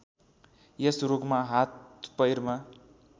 यस रोगमा हाथपैरमा